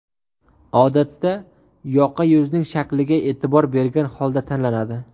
Odatda yoqa yuzning shakliga e’tibor bergan holda tanlanadi.